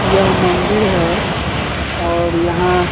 यह मंदिर है और यहाँ --